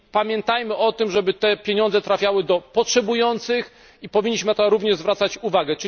Pamiętajmy o tym, żeby te pieniądze trafiały do potrzebujących, i powinniśmy również na to zwracać uwagę.